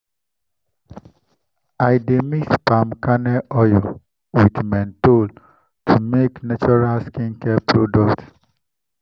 to turn plantain peel into soap dey create new income for agro-processing groups.